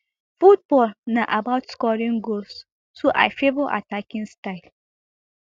football na about scoring goals so i favour attacking style